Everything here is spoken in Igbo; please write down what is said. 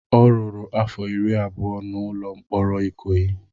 Ọ rụrụ afọ iri abụọ na ụlọ mkpọrọ Ikoyi.